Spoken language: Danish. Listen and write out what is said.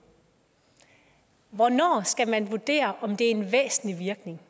hvornår skal man vurdere om det er en væsentlig virkning